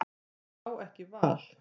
Hann á ekki val.